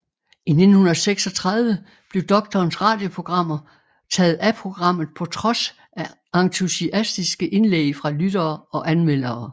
I 1936 blev Doktorens radioprogrammer taget af programmet på trods af entusiastiske indlæg fra lyttere og anmeldere